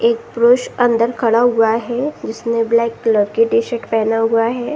एक पुरूष अंदर खड़ा हुआ है जिसने ब्लैक कलर की टी-शर्ट पहना हुआ है।